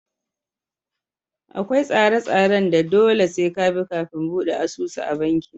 Akwai tsare tsaren da dole sai ka bi kafin buɗe asusu a banki